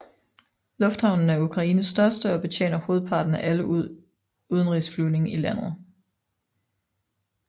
Lufthavnen er Ukraines største og betjener hovedparten af alle udenrigsflyvning i landet